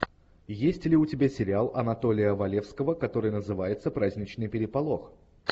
есть ли у тебя сериал анатолия валевского который называется праздничный переполох